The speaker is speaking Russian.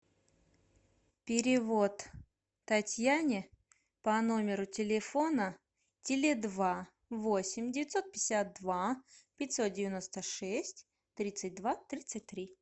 перевод татьяне по номеру телефона теле два восемь девятьсот пятьдесят два пятьсот девяносто шесть тридцать два тридцать три